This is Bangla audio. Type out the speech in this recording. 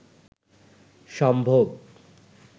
সম্ভোগ